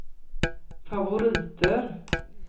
favoriter